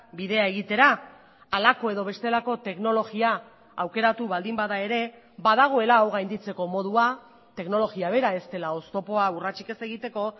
bidea egitera halako edo bestelako teknologia aukeratu baldin bada ere badagoela hau gainditzeko modua teknologia bera ez dela oztopoa urratsik ez egiteko